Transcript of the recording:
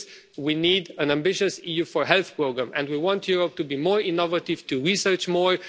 For this, we need an ambitious EU Health Programme, and we want Europe to be more innovative, to research more.